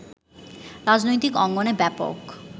রাজনৈতিক অঙ্গনে ব্যাপক